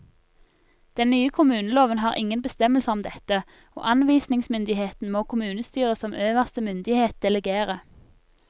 Den nye kommuneloven har ingen bestemmelser om dette, og anvisningsmyndigheten må kommunestyret som øverste myndighet delegere.